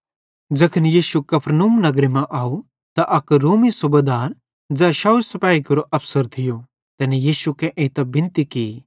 ज़ैखन यीशु कफरनहूम नगर मां अव त अक रोमी सूबेदार ज़ै 100 सिपेहिन केरो अफसर थियो तैनी यीशु कां एइतां बिनती की